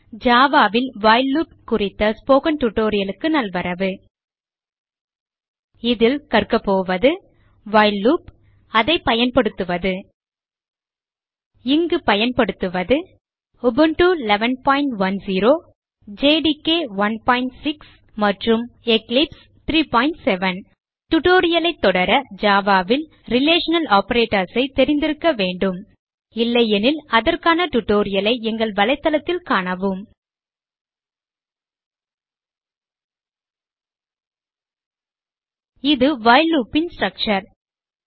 Java ல் while loop குறித்த spoken tutorial க்கு நல்வரவு இதில் கற்கபோவது வைல் லூப் அதைப் பயன்படுத்துவது இங்கு பயன்படுத்துவது உபுண்டு 1110 ஜேடிகே 16 மற்றும் எக்லிப்ஸ் 37 tutorial ஐ தொடர Java ல் ரிலேஷனல் ஆப்பரேட்டர்ஸ் ஐ தெரிந்திருக்க வேண்டும் இல்லையெனில் அதற்கான tutorial ஐ எங்கள் வலைத்தளத்தில் காணவும இது வைல் loop ன் ஸ்ட்ரக்சர்